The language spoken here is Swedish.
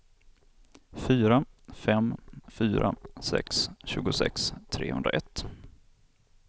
fyra fem fyra sex tjugosex trehundraett